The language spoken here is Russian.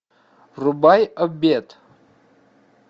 врубай обед